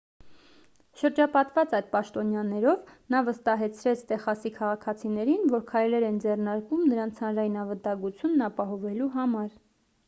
շրջապատված այդ պաշտոնյաներով նա վստահեցրեց տեխասի քաղաքացիներին որ քայլեր են ձեռնարկվում նրանց հանրային անվտանգությունն ապահովելու համար